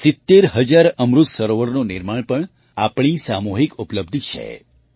૭૦ હજાર અમૃત સરોવરોનું નિર્માણ પણ આપણી સામૂહિક ઉપલબ્ધિ છે